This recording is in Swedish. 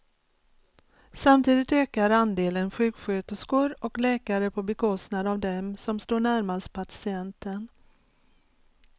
Samtidigt ökar andelen sjuksköterskor och läkare på bekostnad av dem som står närmast patienten.